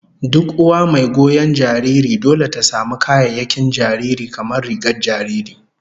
Duk uwa mai goyon jariri dole ta samu kayayyakin jariri, kamar rigar jariri